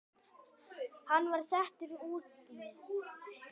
Hann var settur í útlegð.